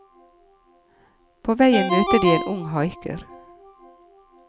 På veien møter de en ung haiker.